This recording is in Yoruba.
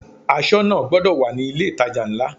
Aṣọ́nà gbọdọ̀ wà ní ilé ìtajà ńlá.